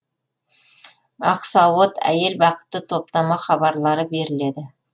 ақсауыт әйел бақыты топтама хабарлары беріледі